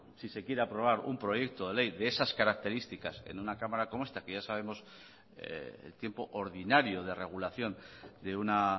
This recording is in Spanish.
si se quiere aprobar un proyecto de ley de esas características en una cámara como esta que ya sabemos el tiempo ordinario de regulación de una